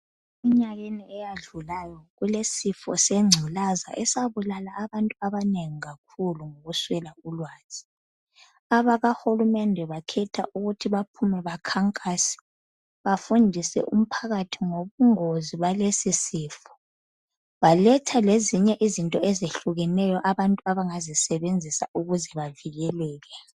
Emnyakeni eyadlulayo kulesifo sengculaza esabulala abantu abanengi kakhulu ngokuswela ulwazi. Abakahulumende bakhetha ukuthi baphume bakhankase bafundise umphakathi ngobungozi balesi sifo. Baletha lezinye izinto ezehlukeneyo abantu abangazisebenzisa ukuze bavikeleke.